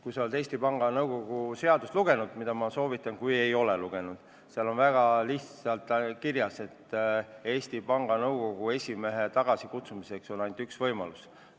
Kui sa oled Eesti Panga seadust lugenud – ma soovitan lugeda, kui ei ole lugenud –, siis sa tead, et seal on väga selgelt kirjas, et Eesti Panga Nõukogu esimehe tagasikutsumiseks on ainult üks võimalus.